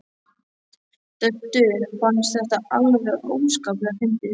Döddu fannst þetta alveg óskaplega fyndið.